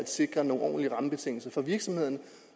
sikres nogle ordentlige rammebetingelser for virksomhederne